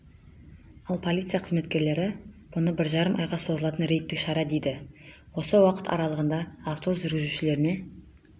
ал полиция қызметкерлері мұны бір жарым айға созылатын рейдтік шара дейді осы уақыт аралығында автобус жүргізушілеріне